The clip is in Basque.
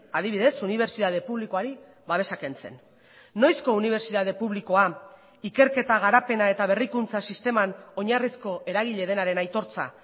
adibidez unibertsitate publikoari babesa kentzen noizko unibertsitate publikoa ikerketa garapena eta berrikuntza sisteman oinarrizko eragile denaren aitortza